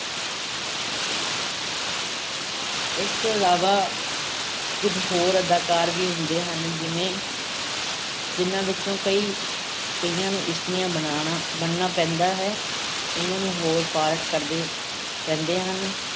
ਇਸ ਤੋਂ ਇਲਾਵਾ ਕੁਝ ਹੋਰ ਅਦਾਕਾਰ ਵੀ ਹੁੰਦੇ ਹਨ ਜਿਵੇਂ ਜਿਹਨਾਂ ਵਿੱਚੋਂ ਕਈ ਕਈਆਂ ਨੂੰ ਇਸਤਰੀਆਂ ਬਣਾਉਣਾ ਬਣਨਾ ਪੈਂਦਾ ਹੈ, ਕਈਆਂ ਨੂੰ ਹੋਰ part ਕਰਨੇ ਪੈਂਦੇ ਹਨ।